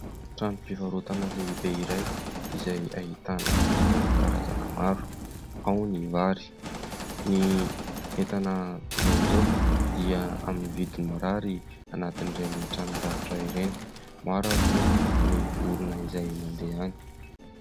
Trano fivarotana lehibe iray izay ahitana entana karazana maro. Ao ny vary, ny entana toizao dia amin'ny vidiny mirary anatin'ireny tranom-barotra ireny, maro ary moa ny olona izay mandeha any.